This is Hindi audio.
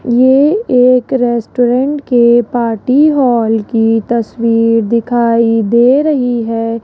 ये एक रेस्टोरेंट के पार्टी हॉल की तस्वीर दिखाई दे रही है।